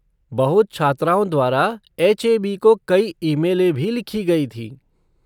बहुत छात्राओं द्वारा एच.ए.बी. को कई ईमेलें भी लिखे गए थे।